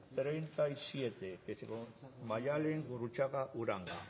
treinta y siete maialen gurrutxaga uranga